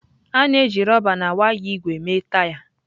A na-eji rọba na waya ígwè mee taya.